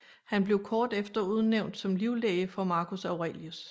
Han blev kort efter udnævnt som livlæge for Marcus Aurelius